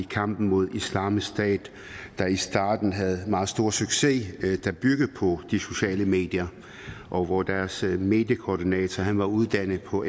kampen mod islamisk stat der i starten havde en meget stor succes som byggede på de sociale medier og hvor deres mediekoordinator var uddannet på